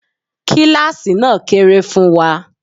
Kíláàsì náà kéré fún wa.